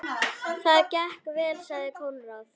Þetta gekk vel, sagði Konráð.